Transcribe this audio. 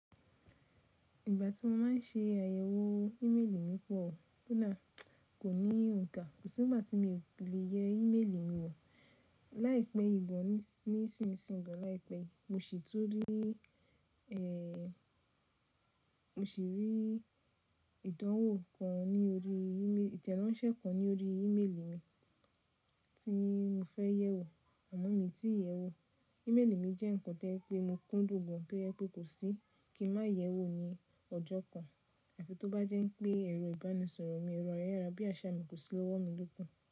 Ìgbà tí mo máa ń ṣe àyẹ̀wò ímélì mi pọ̀, ko da kò ní òǹkà. Kò sí ìgbà tí mi ò le yẹ ímélì mi wò láìpẹ́ yi gan ní ìsinsìnyí gan láìpẹ́. Mo sì tun rí, mo sì rí ìdánwò kan ní orí, ìtẹ́ransẹ́ kan ní orí ímélì mi tí mo fẹ́ yẹ̀ wò àmọ́ mi tí ì yẹ wò. Ìmélì mi jẹ́ ǹkan to jẹ pé mo kúndùn gan to jẹ pé kò sí kí n má yẹ̀ wò ní ọjọ́ kan. Àfi tó bá jẹ́ wi pé ẹ̀rọ ìbánisọ̀rọ̀ mi ẹ̀rọ ayárábíaṣá mi kò sí lọ́wọ́ mi lóku.